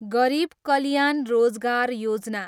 Garib Kalyan Rozgar Yojana